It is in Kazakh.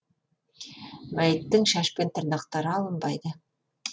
мәйіттің шаш пен тырнақтары алынбайды